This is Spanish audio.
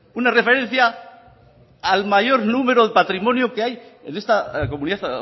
una referencia al mayor número de patrimonio que hay en esta comunidad